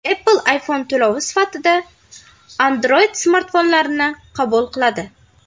Apple iPhone to‘lovi sifatida Android-smartfonlarni qabul qiladi.